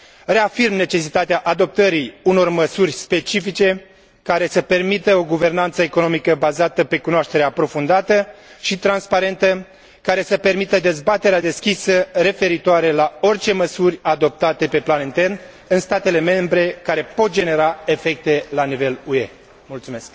Reafirm necesitatea adoptării unor măsuri specifice care să permită o guvernanță economică, bazată pe cunoaștere aprofundată și transparentă, care să permită dezbaterea deschisă referitoare la orice măsuri adoptate pe plan intern în statele membre care pot genera efecte la nivel UE.